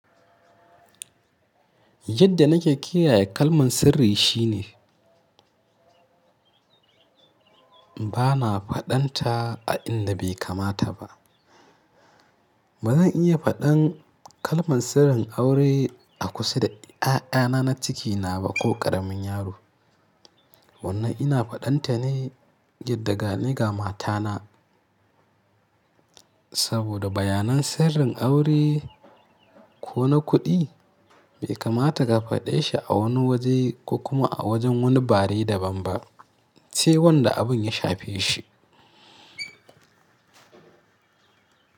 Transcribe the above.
Yadda nake kiyaye kalman sirri shine ba na faɗanta a inda bai kamata ba. Ba zan iya faɗan kalman sirrin aure a kusa da ƴaƴana na cikina ba ko ƙaramin yaro. Wannan ina faɗanta ne yadda ga ni ga matana. Saboda bayanan sirrin aure ko na kuɗi bai kamata ka faɗe shi a wani waje ko kuma a wajen wani bare daban ba sai wanda abun ya shafe shi.